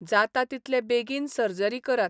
जाता तितले बेगीन सर्जरी करात.